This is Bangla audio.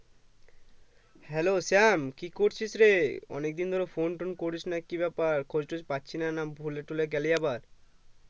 Hello শ্যাম কি করছিস রে অনেকদিন ধরে phone টোন করিসনা কি ব্যাপার খোঁজতোজ পাচ্ছিনা না ভুলেটুলে গেলি আবার ।